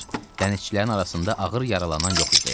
Dənizçilərin arasında ağır yaralanan yox idi.